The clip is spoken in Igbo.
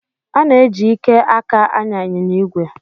Ana-eji ike aka anya ịnyịnya ígwè